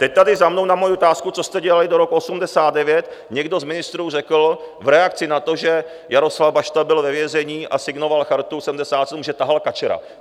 Teď tady za mnou na moji otázku, co jste dělali do roku 1989, někdo z ministrů řekl v reakci na to, že Jaroslav Bašta byl ve vězení a signoval Chartu 77, že tahal kačera.